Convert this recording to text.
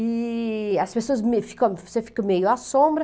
E as pessoas me, ficam, você fica meio à sombra.